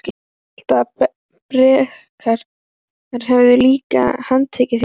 Ég hélt að Bretar hefðu líka handtekið þig?